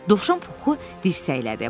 Dovşan Puxu dirsəklədi.